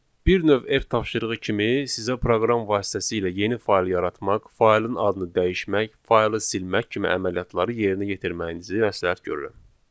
Bir növ ev tapşırığı kimi sizə proqram vasitəsilə yeni fayl yaratmaq, faylın adını dəyişmək, faylı silmək kimi əməliyyatları yerinə yetirməyinizi məsləhət görürəm.